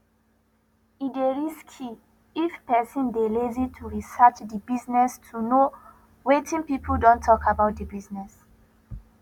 e dey risky if person dey lazy to research di business to know wetin pipo don talk about di business